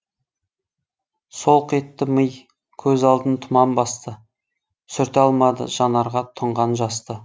солқ етті ми көз алдын тұман басты сүрте алмады жанарға тұнған жасты